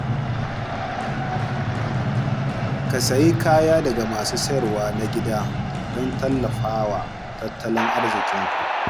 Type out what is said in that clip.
Ka sayi kaya daga masu sayarwa na gida don tallafa wa tattalin arzikinsu.